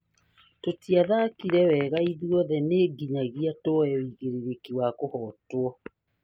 "Tũtiathakire wega na ithuothe nĩ nginyagia tuoe wĩigirĩrĩki wa kũhotwo"